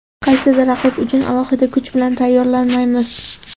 Qaysidir raqib uchun alohida kuch bilan tayyorlanmaymiz.